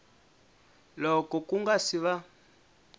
loko ku nga si va